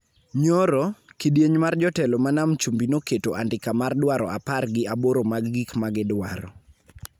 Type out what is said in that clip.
Nyoro, kidieny mar jotelo ma Nam Chumbi noketo andika mar dwaro apar gi aboro mag gik ma gidwaro